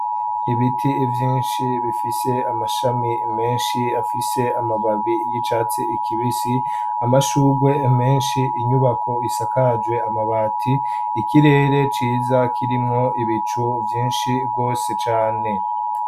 Ibiti vyinshi bifise amashami menshi afise amababi y'icatsi ikibisi amashurwe menshi inyubako isakajwe amabati ikirere ciza kirimwo ibicu vyinshi rwose cane.